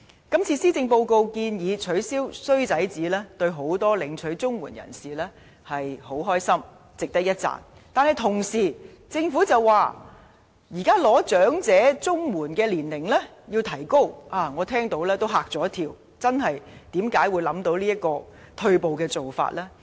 今次施政報告建議取消"衰仔紙"，令眾多領取綜援人士很高興，值得一讚，但政府同時把領取長者綜援的合資格年齡提高，我聽到也嚇了一跳，政府為何會想出這種退步的做法呢？